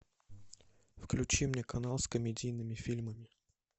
включи мне канал с комедийными фильмами